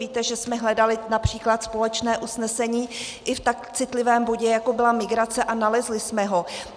Víte, že jsme hledali například společné usnesení i v tak citlivém bodě, jako byla migrace, a nalezli jsme ho.